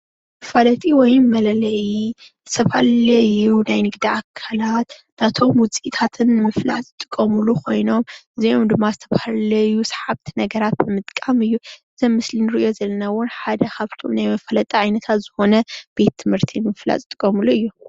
መፋለጢ ወይ መለለይ ዝተፈላለዩ ናይ ንግዲ አካላት ናቶም ውፅኢታትን ንምፍላጥ ዝጥቀምሎም ኮይኖም እዚኦም ድማ ዝተፈላለዩ ሰሓብቲ ነገራት ብምጥቃም እዩ። እዚ አብ ምስሊ እንሪኦ ዘለና እውን ሓደ ካብቶም ናይ መፍለጢ ዓይነታት ዝኮነ ቤት ትምህርቲ ንምፍላጥ ዝጥቀምሉ እዩ።